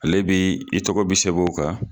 Ale bi i tɔgɔ bɛ sɛbɛn o kan.